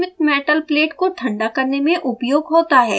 यह ऊष्मित metal plate को ठंडा करने में उपयोग होता है